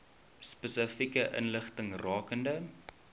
spesifieke inligting rakende